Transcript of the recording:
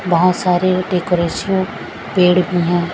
बहोत सारे डेकोरेशन पेड़ भी है।